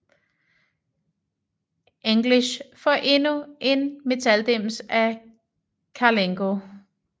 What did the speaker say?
English får endnu en metaldims af Karlenko